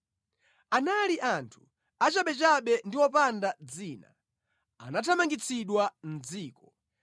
Anali anthu achabechabe ndi wopanda dzina, anathamangitsidwa mʼdziko.